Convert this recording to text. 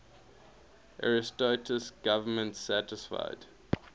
ariosto's government satisfied